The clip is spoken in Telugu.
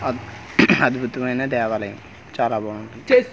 ఆ అద్భుతమైన దేవాలయం చాలా బాగుంది చే--